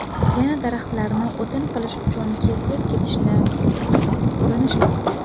Yana daraxtlarni o‘tin qilish uchun kesib ketishni urinishmoqda.